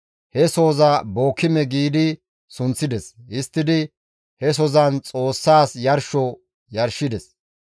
He sohoza Bookime giidi sunththides; histtidi he sozan Xoossas yarsho yarshides.